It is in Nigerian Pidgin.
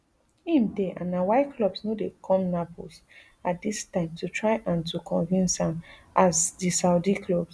im dey and na why clubs no dey come naples at dis time to try and to convince am as di saudi clubs